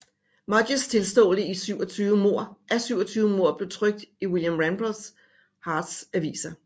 Mudgetts tilståelse af 27 mord blev trykt i William Randolph Hearsts aviser